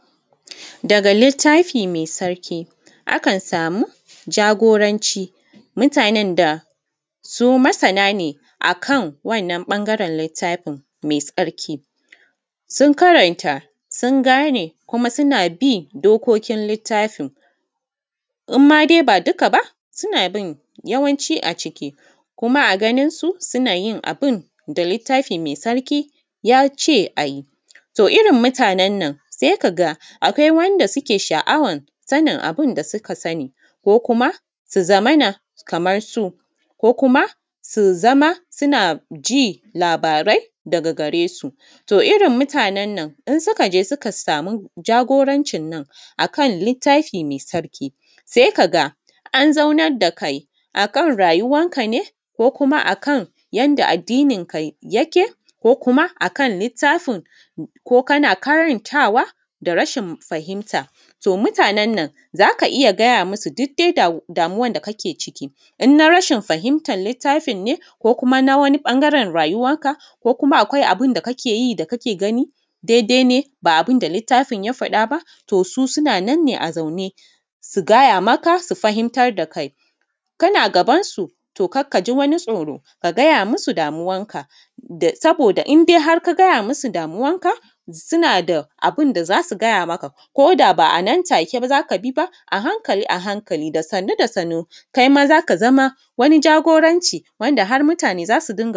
Daga littafi mai sarki, aka samu jagoranci mutanen da su masana ne akan wannan ɓangaren littafin mai sarki, sun karanta sun gane kuma suna bin dokokin littafin in ma dai ba dukka ba suna bin yawanci a ciki kuma a ganin su suna yin abin da littafi mai sarki yace a yi, to irin mutanan nan sai ka ga akwai wanda suke sha’awar sanin abin da suka sani ko kuma su zamana kamar su ko kuma su zama suna ji labarai daga gare su, to irin mutanan nan in suka je suka samu jagorancin nan a kan littafi mai sarki sai ka ga an zaunan da kai akan rayuwan ka ne ko kuma akan yadda addinin ka yake ko kuma akan littafin ko kana karantawa da rashin fahimta, to mutanan nan zaka iya gaya musu duk dai damuwan da kake ciki in na rashin fahimatar littafin ne ko kuma na wani ɓangaren rayuwanka ko kuma akwai abin da kake yi da kake gani daidai ne ba abin da littafin ya faɗa ba, to su suna nan ne a zaune su gaya maka su fahimtar da kai, kana gabansu to kada ka shi wani tsoro ka gaya musu damuwanka saboda idan hark a gaya musu damuwanka suna da abun da zasu gaya maka koda ba a nan take ba zaka bi ba a hankali a hankali da sannu da sannu kai ma zaka zama wani jagoranci wanda har mutane zasu dinga.